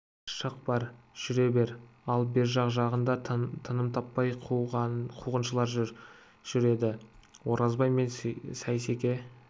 шық бар жүре бер ал бер жақ жағада тыным таппай қуғыншылар жүр еді оразбай мен сейсеке